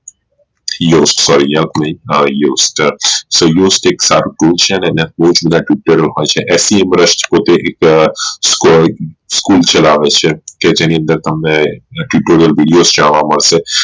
fec પોતે એક school ચલાવે છે કે એની અંદર તમને ઘણા videos જોવા મળશે